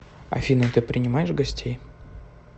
афина ты принимаешь гостей